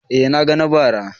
Eh na ga na bara.